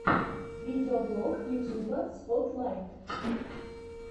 видеоблог ютуба спотлайт